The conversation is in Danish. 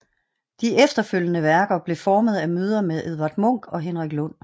De efterfølgende værker blev formet af møder med Edward Munch og Henrik Lund